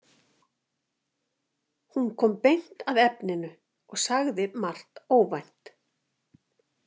Hún kom beint að efninu og sagði margt óvænt.